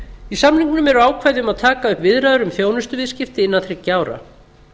í samningnum eru ákvæði um að taka upp viðræður um þjónustuviðskipti innan þriggja ára